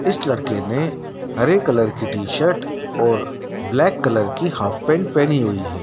इस लड़के ने हरे कलर की टी शर्ट और ब्लैक कलर की हाफ पैंट पहनी हुई है।